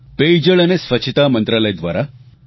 પેયજળ અને સ્વચ્છતા મંત્રાલય દ્વારા mygov